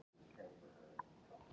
Þá þyrmir yfir þig, skrýtið.